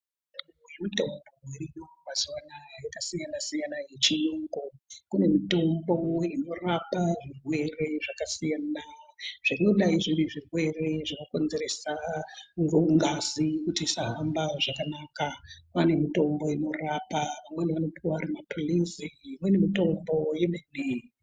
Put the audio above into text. Kune mitombo dziriyo mazuwa anaya yakasiyana-siyana yechiyungu. Kune mitombo inorapa zvirwere zvakasiyana zvinodayi zviri zvirwere zvinokonzeresa ngazi kuti isahamba zvakanaka. Pane mitombo inorapa, amweni anopuwa ari maphhilizi imweni mitombo yemene.